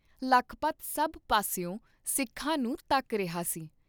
ਲਖਪਤ ਸਭ ਪਾਸਿਓਂ ਸਿੱਖਾਂ ਨੂੰ ਧੱਕ ਰਿਹਾ ਸੀ।